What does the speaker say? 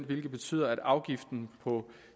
hvilket betyder at afgiften på